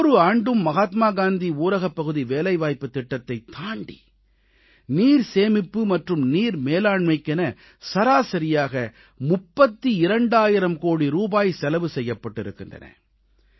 ஒவ்வொரு ஆண்டும் மகாத்மா காந்தி ஊரகப்பகுதி வேலைவாய்ப்புத் திட்டத்தைத் தாண்டி நீர் சேமிப்பு மற்றும் நீர் மேலாண்மைக்கென சராசரியாக 32000 கோடி ரூபாய் செலவு செய்யப்பட்டிருக்கின்றன